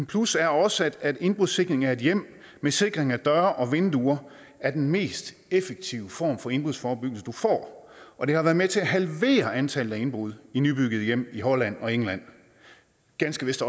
plus er også at indbrudssikring af et hjem med sikring af døre og vinduer er den mest effektive form for indbrudsforebyggelse du får og det har været med til at halvere antallet af indbrud i nybyggede hjem i holland og england ganske vist